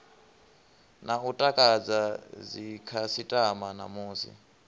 na u takadza dzikhasitama namusi